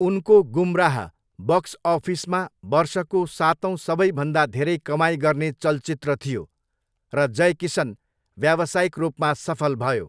उनको गुमराह बक्स अफिसमा वर्षको सातौँ सबैभन्दा धेरै कमाइ गर्ने चलचित्र थियो, र जय किसन व्यावसायिक रूपमा सफल भयो।